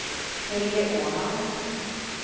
Helge Åman